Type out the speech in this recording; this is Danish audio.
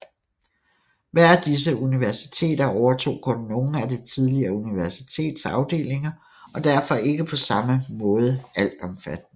Hver af disse universiteter overtog kun nogle af det tidligere universitets afdelinger og er derfor ikke på samme måde altomfattende